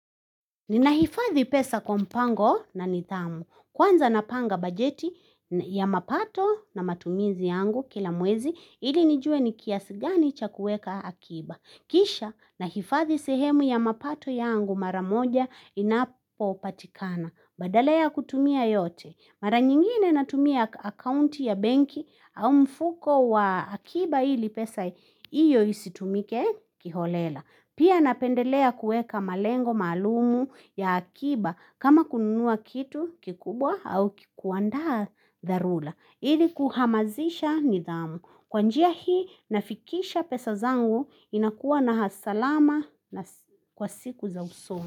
Ninahifadhi pesa kwa mpango na nithamu. Kwanza napanga bajeti ya mapato na matumizi yangu kila mwezi ili nijue ni kiasi gani cha kueka akiba. Kisha naifadhi sehemu ya mapato yangu maramoja inapo patikana. Badala ya kutumia yote. Mara nyingine natumia akaunti ya benki au mfuko wa akiba ili pesa iyo isitumike kiholela. Pia napendelea kueka malengo maalum ya akiba kama kununua kitu kikubwa au kikuandaa dharula. Ili kuhamazisha nidhamu. Kwa njia hii nafikisha pesa zangu inakuwa na hasalama kwa siku za usomu.